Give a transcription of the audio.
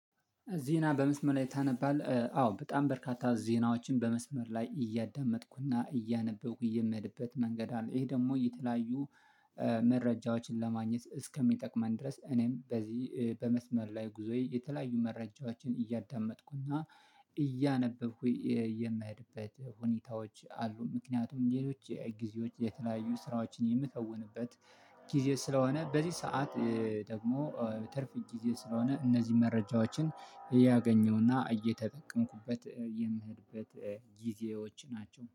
ዜና በመስመር ላይ ታነባለህ? አዎ በጣም በርካታ ዜናዎችን በመስመር ላይ እያዳመጥኩና እያነበብኩ የምሄድበት መንገድ አለ። ይሄ ደግሞ የተለያዩ መረጃዎችን ለማግኘት እስከሚጠቅመን ድረስ እኔም በዚህ በመስመር ላይ ጉዞዬ የተለያዩ መረጃዎችን እያዳመጥኩና እያነበብኩ የምሄድበት ሁኔታዎች አሉ። ምክንያቱም ሌሎች ጊዜዎች የተለያዩ ስራዎችን የምከውንበት ጊዜ ስለሆነ በዚህ ሰዓት ደግሞ ትርፍ ጊዜ ስለሆነ እነዚህ መረጃዎችን እያገኘውና እየተጠቀምኩበት የምሄድበት ጊዜዎች ናቸው